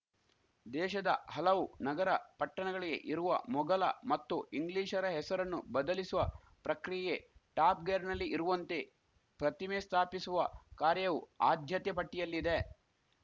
ದೇಶದ ಹಲವು ನಗರಪಟ್ಟಣಗಳಿಗೆ ಇರುವ ಮೊಘಲ ಮತ್ತು ಇಂಗ್ಲಿಷರ ಹೆಸರನ್ನು ಬದಲಿಸುವ ಪ್ರಕ್ರಿಯೆ ಟಾಪ್‌ ಗೇರ್‌ನಲ್ಲಿ ಇರುವಂತೆ ಪ್ರತಿಮೆ ಸ್ಥಾಪಿಸುವ ಕಾರ್ಯವೂ ಆದ್ಯತೆ ಪಟ್ಟಿಯಲ್ಲಿದೆ